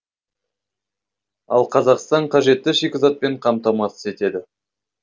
ал қазақстан қажетті шикізатпен қамтамасыз етеді